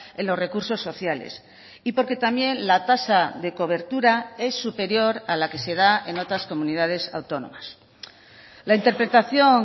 en los recursos sociales y porque también la tasa de cobertura es superior a la que se da en otras comunidades autónomas la interpretación